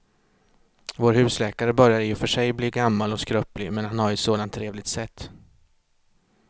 Vår husläkare börjar i och för sig bli gammal och skröplig, men han har ju ett sådant trevligt sätt!